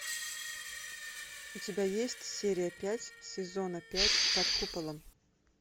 у тебя есть серия пять сезона пять под куполом